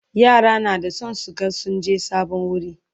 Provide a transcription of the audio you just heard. yara na da San su ga sun je sabon wuri